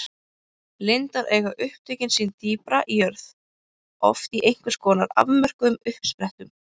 Lindár eiga upptök sín dýpra í jörð, oft í einhvers konar afmörkuðum uppsprettum.